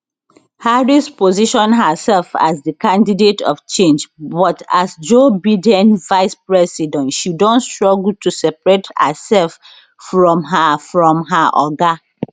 harris position herself as di candidate of change but as joe biden vice president she don struggle to separate hersef from her from her oga